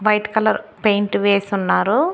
White colour paint వేసున్నారు.